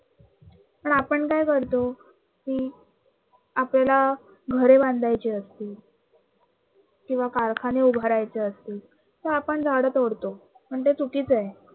तर आपण काय करतो कि आपल्याला घरे बांधायची असतील किंवा कारखाने उभारायचे असतील तर आपण झाडं तोडतो, पण ते चुकीचं आहे.